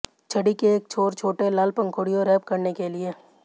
छड़ी के एक छोर छोटे लाल पंखुड़ियों रैप करने के लिए